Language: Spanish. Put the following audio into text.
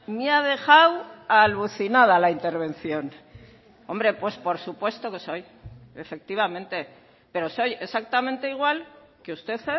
me ha dejado alucinada la intervención hombre pues por supuesto que soy efectivamente pero soy exactamente igual que usted